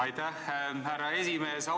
Aitäh, härra esimees!